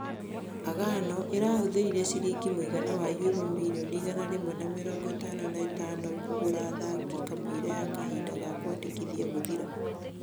Agano ĩrahuthĩrire ciringi mũigana wa Euro mirioni igana rimwe na mĩrongo ĩtano na ĩtano kũgũra athaki kamũiria ya kahinda ga kwĩandĩkithia gũthira.